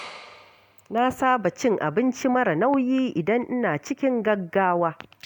Na saba cin abinci mara nauyi idan ina cikin gaggawa.